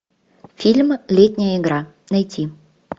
фильм летняя игра найти